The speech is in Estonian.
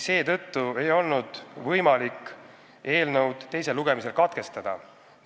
Seetõttu ei olnud võimalik eelnõu teist lugemist katkestada.